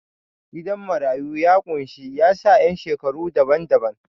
Gidan marayu ya ƙunshi yasa ƴan shekaru daban-daban.